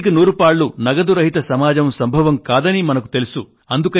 నూటికి నూరు పాళ్ళు నగదు రహిత సమాజం సంభవం కాదని మనకు తెలుసు